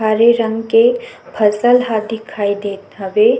हरे रंग के फसल ह दिखाई देत हवे--